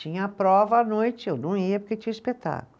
Tinha prova à noite, eu não ia porque tinha o espetáculo.